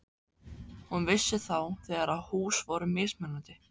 Hún vissi þá þegar að hús voru mismunandi.